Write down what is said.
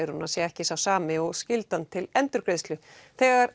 sé ekki sá sami og skyldan til endurgreiðslu þegar